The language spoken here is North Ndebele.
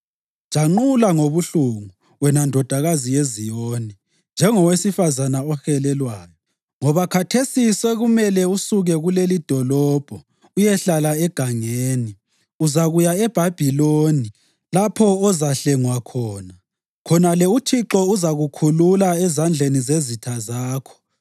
Janqula ngobuhlungu, wena Ndodakazi yeZiyoni, njengowesifazane ohelelwayo, ngoba khathesi sekumele usuke kulelidolobho uyehlala egangeni. Uzakuya eBhabhiloni; lapho ozahlengwa khona. Khonale uThixo uzakukhulula ezandleni zezitha zakho.